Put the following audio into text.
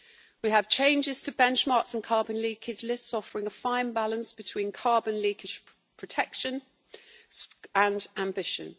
We have changes to benchmarks and carbon leakage lists, offering a fine balance between carbon leakage protection and ambition.